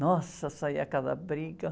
Nossa, saía cada briga.